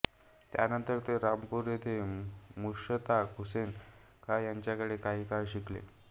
त्यानंतर ते रामपूर येथे मुश्ताक हुसेन खॉं यांच्याकडे काही काळ शिकले